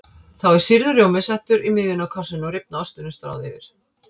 Þá er sýrður rjómi settur í miðjuna á kássunni og rifna ostinum stráð yfir.